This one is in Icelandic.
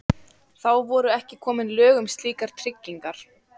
Þá voru ekki komin lög um slíkar tryggingar.